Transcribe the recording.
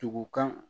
Tugu kan